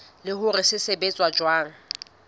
le hore se sebetsa jwang